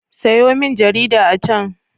Sayo min jarida a can.